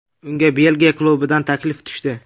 Unga Belgiya klubidan taklif tushdi.